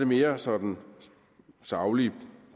mere sådan saglige